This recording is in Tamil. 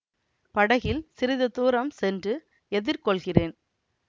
படகில் சிறிது தூரம் சென்று எதிர் கொள்கிறேன்